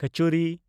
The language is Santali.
ᱠᱚᱪᱩᱨᱤ